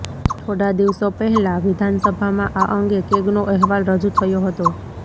થોડા દિવસો પહેલા વિધાનસભામાં આ અંગે કેગનો અહેવાલ રજૂ થયો હતો